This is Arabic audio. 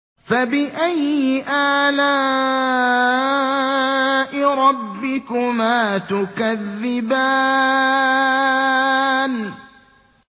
فَبِأَيِّ آلَاءِ رَبِّكُمَا تُكَذِّبَانِ